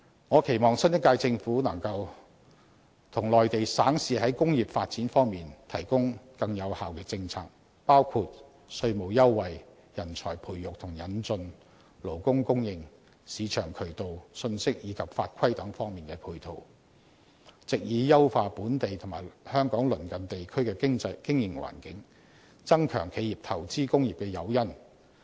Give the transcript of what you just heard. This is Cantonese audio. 我期望新一屆政府能夠與內地省市在工業發展方面提供更有效的政策，包括稅務優惠、人才培育與引進、勞工供應、市場渠道、信息及法規等方面的配套，藉以優化本地及香港鄰近地區的經營環境，增強企業投資工業的誘因。